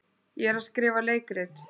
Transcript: Ég er að skrifa leikrit.